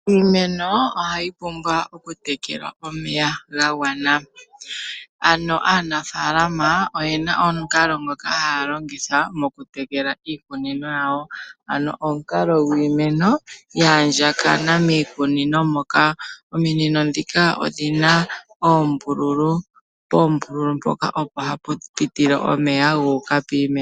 Iimeno ohayi pumbwa oku tekelwa omeya gagwana. Ano aanafaalama oyena omukalo ngoka haya longitha mokutekela iikunino yawo. Omukalo gwiimeno yaandjakana miikunino moka. Ominino ndhoka odhina oombulu poombulu mpoka opo hapupitile omeya guuka kiimeno.